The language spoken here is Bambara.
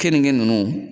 Keninge ninnu